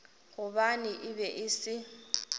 gobane e be e se